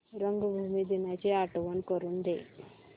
रंगभूमी दिनाची आठवण करून दे